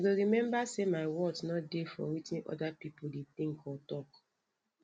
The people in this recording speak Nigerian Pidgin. i go remember sey my worth no dey for wetin oda pipo dey think or talk